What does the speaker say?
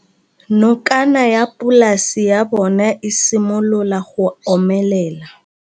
Nokana ya polase ya bona, e simolola go omelela.